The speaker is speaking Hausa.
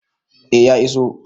A ya iso